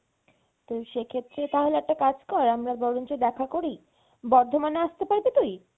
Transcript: তো সেক্ষেত্রে তাহলে একটা কাজ কর আমরা বরঞ্চ দেখা করি বর্ধমানে আসতে পারবি তুই?